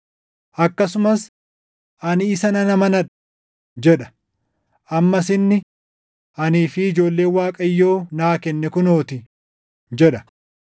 Akkasumas, “Ani isa nan amanadha” + 2:13 \+xt Isa 8:17\+xt* jedha. Ammas inni, “Anii fi ijoolleen Waaqayyo naa kenne kunoo ti” + 2:13 \+xt Isa 8:18\+xt* jedha.